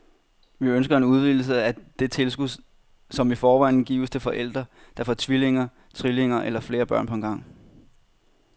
Vi ønsker en udvidelse af det tilskud, som i forvejen gives til forældre, der får tvillinger, trillinger eller flere børn på en gang.